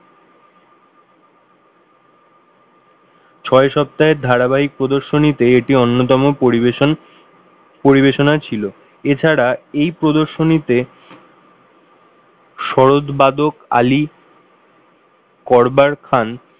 ছয় সপ্তাহের ধারাবাহিক প্রদর্শনীতে এটি অন্যতম পরিবেশন পরিবেশনা ছিল এছাড়া এই প্রদর্শনীতে সরোদ বাদক আলী করবার খান,